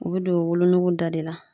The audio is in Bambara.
U bɛ don wolonugu da de la.